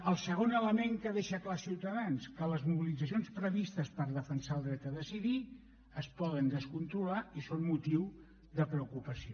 el segon element que deixa clar ciutadans que les mobilitzacions previstes per defensar el dret a decidir es poden descontrolar i són motiu de preocupació